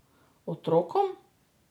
Otrokom!